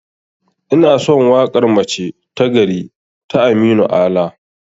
Inason waƙar 'mace ta gari' ta aminu ala